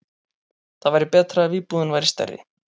Það væri betra ef íbúðin væri stærri.